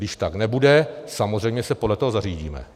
Když tak nebude, samozřejmě se podle toho zařídíme.